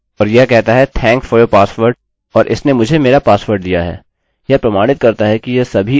क्योंकि वहाँ इनको ब्लॉक के रूप में रखने से कोई मतलब नहीं होगा वे किसी भी तरह से पठनीय नहीं हैं